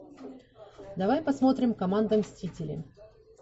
давай посмотрим команда мстителей